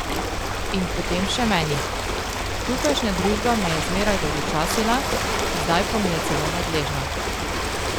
In potem še meni: 'Tukajšnja družba me je zmeraj dolgočasila, zdaj pa mi je celo nadležna.